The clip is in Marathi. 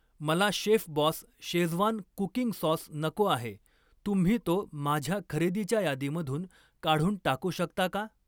मला शेफबॉस शेझवान कुकिंग सॉस नको आहे, तुम्ही तो माझ्या खरेदीच्या यादीमधून काढून टाकू शकता का?